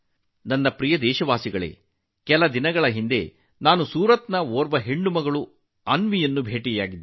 ನನ್ನ ಪ್ರೀತಿಯ ದೇಶವಾಸಿಗಳೇ ಕೆಲವು ದಿನಗಳ ಹಿಂದೆ ನಾನು ಸೂರತ್ನ ಅನ್ವಿ ಎಂಬ ಬಾಲಕಿಯನ್ನು ಭೇಟಿಯಾಗಿದ್ದೆ